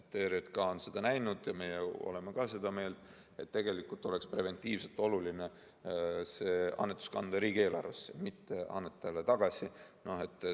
ERJK on arvanud ja ka meie oleme seda meelt, et tegelikult oleks preventiivselt oluline kanda see annetus riigieelarvesse, mitte anda annetajale tagasi.